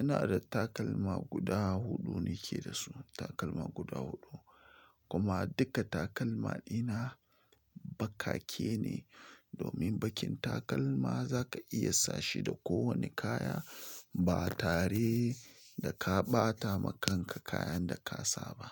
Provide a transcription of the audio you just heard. Ina da takalma guda huɗu nake da su, takalma guda huɗu. Kuma duka takalma ina baƙake ne, domin baƙin takalma za ka iya sashi da kowane kaya ba tare da ka ɓata ma kanka kayan da ka sa ba.